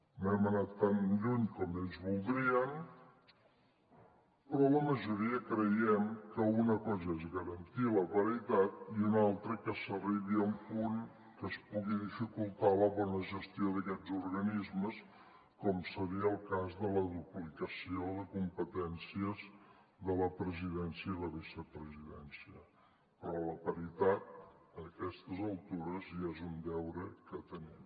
no hem anat tan lluny com ells voldrien però la majoria creiem que una cosa és garantir la paritat i una altra que s’arribi a un punt que es pugui dificultar la bona gestió d’aquests organismes com seria el cas de la duplicació de competències de la presidència i la vicepresidència però la paritat a aquestes altures ja és un deure que tenim